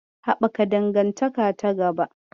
Haɓaka dangantaka ta gaba